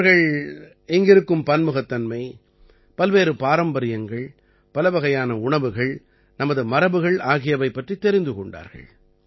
அவர்கள் இங்கிருக்கும் பன்முகத்தன்மை பல்வேறு பாரம்பரியங்கள் பலவகையான உணவுகள் நமது மரபுகள் ஆகியவை பற்றித் தெரிந்து கொண்டார்கள்